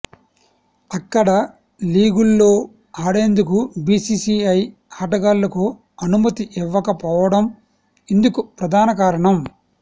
అక్కడ లీగుల్లో ఆడేందుకు బిసిసిఐ ఆటగాళ్లకు అనుమతి ఇవ్వకపోవడం ఇందుకు ప్రధాన కారణం